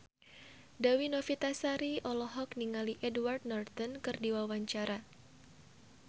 Dewi Novitasari olohok ningali Edward Norton keur diwawancara